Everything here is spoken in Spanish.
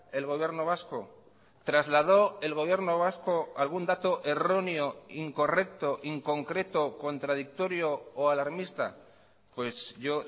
el gobierno vasco trasladó el gobierno vasco algún dato erróneo incorrecto inconcreto contradictorio o alarmista pues yo